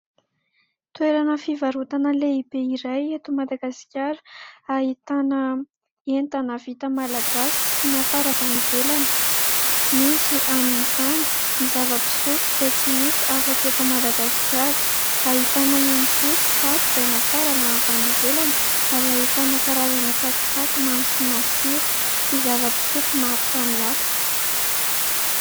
Toerana fivarotana lehibe iray eto Madagasikara ahitana entana vita malagasy sy nafarana avy any ivelany. Misy amin'izany ny zava-pisotro izay tsy hita afa-tsy eto Madagasikara, ahitana ihany koa kitapo izay nafarana avy any ivelany ary ahitana karazana tsakitsaky mamy sy masira sy zava-pisotro maro samy hafa .